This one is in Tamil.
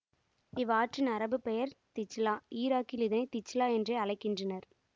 இவ்வாற்றின் அரபுப் பெயர் திஜ்லா இராக்கில் இதனை திஜ்லா என்றே அழைக்கின்றனர்